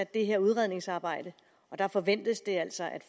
det her udredningsarbejde og der forventes det altså at